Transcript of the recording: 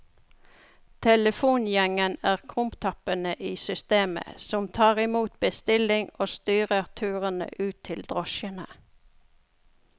Telefongjengen er krumtappene i systemet som tar imot bestilling og styrer turene ut til drosjene.